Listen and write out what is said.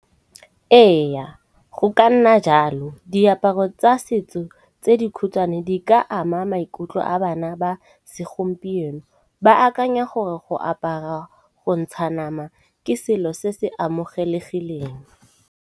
Eya, go ka nna jalo diaparo tsa setso tse dikhutshwane di ka ama maikutlo a bana ba segompieno. Ba akanya gore go apara go ntsha nama ke selo se se amogelegileng.